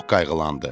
Çox qayğılandı.